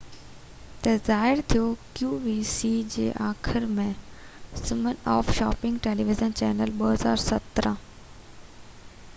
2017 جي آخر ۾ سمن آف شاپنگ ٽيليويزن چينل qvc تي ظاهر ٿيو